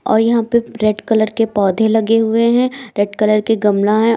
और यहां पे रेड कलर के पौधे लगे हुए हैं रेड कलर के गमला है।